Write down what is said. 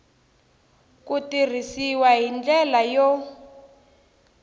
ku tirhisiwa hi ndlela yo